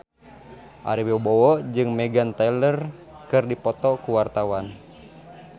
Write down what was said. Ari Wibowo jeung Meghan Trainor keur dipoto ku wartawan